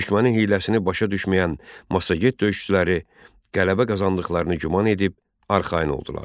Düşmənin hiyləsini başa düşməyən massaget döyüşçüləri qələbə qazandıqlarını güman edib arxayın oldular.